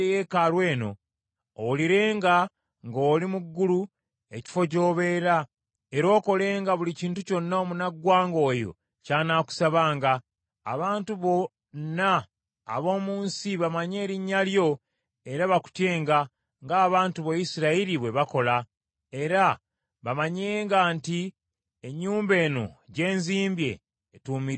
owulirenga ng’oli mu ggulu, ekifo gy’obeera, era okolenga buli kintu kyonna omunaggwanga oyo ky’anaakusabanga, abantu bonna ab’omu nsi bamanye erinnya lyo era bakutyenga, ng’abantu bo Isirayiri bwe bakola, era bamanyenga nti Ennyumba eno gye nzimbye, etuumiddwa erinnya lyo.